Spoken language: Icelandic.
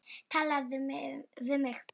Talaðu við mig!